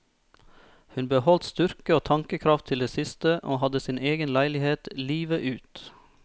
Hun beholdt styrke og tankekraft til det siste, og hadde sin egen leilighet livet ut.